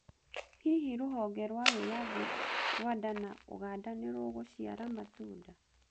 Hihi rũhonge rwa wĩyathi Rwanda na Uganda nĩrũgũciara matunda?